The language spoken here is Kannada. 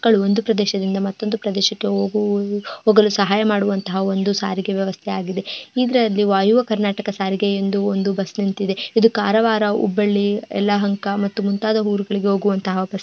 ಒಂದು ಪ್ರದೇಶದಿಂದ ಮತ್ತೊಂದು ಪ್ರದೇಶಕ್ಕೆ ಹೋಗು ಹೋಗಲು ಸಹಾಯ ಮಾಡುವಂತ ಒಂದು ಸಾರಿಗೆ ವ್ಯವಸ್ಥೆ ಆಗಿದೆ. ಇದರಲ್ಲಿ ವಾಯುವ್ಯ ಕರ್ನಾಟಕ ಸಾರಿಗೆ ಎಂದು ಒಂದು ಬಸ್ ನಿಂತಿದೆ. ಇದು ಕಾರವಾರ ಹುಬ್ಬಳ್ಳಿ ಯಲಹಂಕ ಮತ್ತು ಮುಂತಾದ ಊರುಗಳಿಗೆ ಹೋಗುವಂತಹ ಬಸ್ .